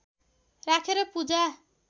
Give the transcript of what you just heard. राखेर पूजा